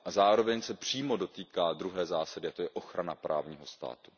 Zároveň se přímo dotýká druhé zásady, a to je ochrana právního státu.